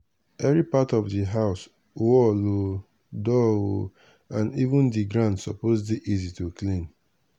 every part of di house_ wall odoor o and even di ground suppose dey easy to clean.